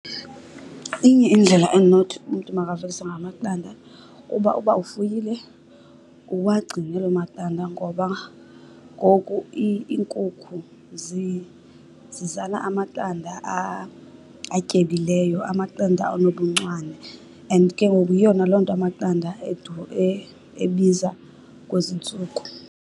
Inye indlela endinothi umntu makavelise ngayo amaqanda kuba uba ufuyile uwagcine loo maqanda. Ngoba ngoku iinkukhu zizala amaqanda atyebileyo, amaqanda anobuncwane and ke ngoku yiyo naloo nto amaqanda ebiza kwezi ntsuku.